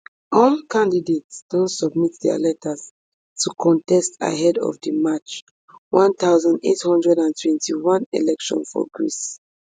all candidates don submit dia letters to contest ahead of di march one thousand, eight hundred and twenty-one election for greece